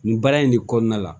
Nin baara in de kɔnɔna la